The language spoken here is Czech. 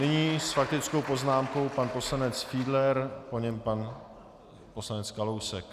Nyní s faktickou poznámkou pan poslanec Fiedler, po něm pan poslanec Kalousek.